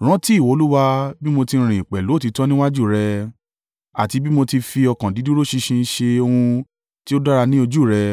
“Rántí, Ìwọ Olúwa, bí mo ti rìn pẹ̀lú òtítọ́ níwájú rẹ, àti bí mo ti fi ọkàn dídúró ṣinṣin ṣe ohun tí ó dára ní ojú ù rẹ.”